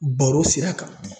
Baro sira kan